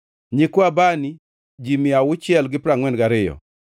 nyikwa Bani, ji mia auchiel gi piero angʼwen gariyo (642),